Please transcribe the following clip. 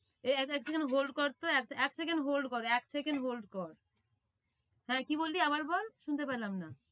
এই এক second hold কর তো এক second hold কর এক second hold কর হ্যাঁ, কি বললি আবার বল শুনতে পেলাম না।